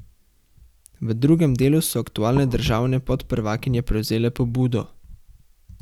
V drugem delu so aktualne državne podprvakinje prevzele pobudo.